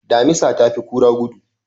Damisa ta fi kura gudu.